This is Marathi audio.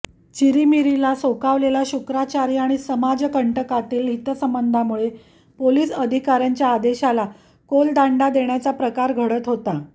चिरीमिरीला सोकावलेले शुक्राचार्य आणि समाजकंटकातील हितसंबंधांमुळे पोलिस अधिकार्यांच्या आदेशाला कोलदांडा देण्याचाच प्रकार घडत होता